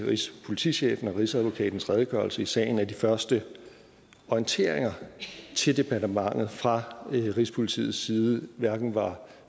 rigspolitichefen og rigsadvokatens redegørelse i sagen at de første orienteringer til departementet fra rigspolitiets side hverken var